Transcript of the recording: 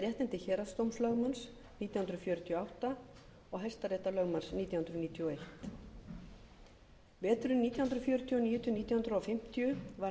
héraðsdómslögmanns nítján hundruð fjörutíu og átta og hæstaréttarlögmanns nítján hundruð níutíu og einn veturinn nítján hundruð fjörutíu og níu til nítján hundruð fimmtíu var